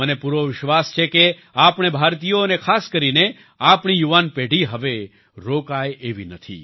મને પૂરો વિશ્વાસ છે કે આપણે ભારતીયો અને ખાસ કરીને આપણી યુવાન પેઢી હવે રોકાય એવી નથી